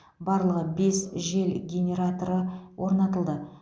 барлығы бес жел генераторы орнатылды